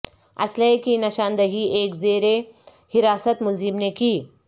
اسلحے کی نشاندھی ایک زیر حراست ملزم نے کی